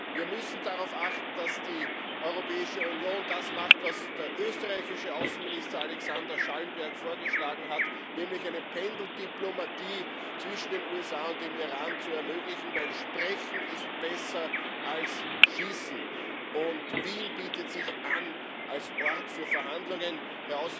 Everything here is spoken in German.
Wir müssen darauf achten, dass die Europäische Union das macht, was der österreichische Außenminister, Alexander Schallenberg, vorgeschlagen hat, nämlich eine Pendeldiplomatie zwischen den USA und dem Iran zu ermöglichen, denn Sprechen ist besser als Schießen. Und Wien bietet sich als Ort für Verhandlungen an.